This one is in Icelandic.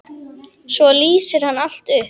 Svo lýsir hann allt upp.